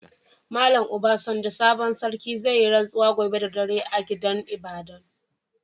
Mallam Obasanjo sabon sarkin, zai yi ransuwa gobe da dare a gidan ibada'n.